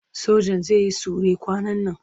Sojan zai yi sure kwanan nan.